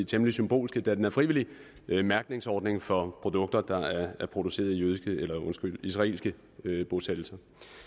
temmelig symbolske da den er frivillig mærkningsordning for produkter der er produceret i israelske bosættelser